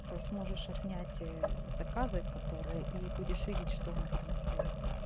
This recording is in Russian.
то есть можешь отнять заказы которые и будешь видеть что у нас там остаётся